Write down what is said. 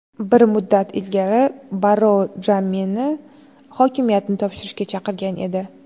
Bir muddat ilgari Barrou Jammeni hokimiyatni topshirishga chaqirgan edi .